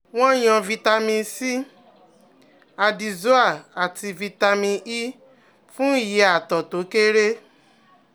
Wọ́n yàn vitamin C, Addyzoa àti vitamin E fún iye àtọ̀ tó kéré